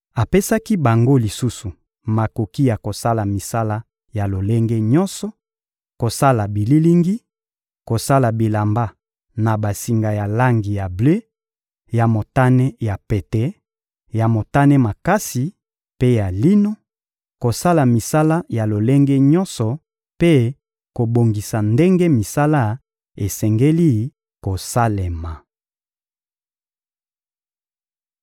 Apesaki bango lisusu makoki ya kosala misala ya lolenge nyonso: kosala bililingi, kosala bilamba na basinga ya langi ya ble, ya motane ya pete, ya motane makasi mpe ya lino, kosala misala ya lolenge nyonso mpe kobongisa ndenge misala esengeli kosalema.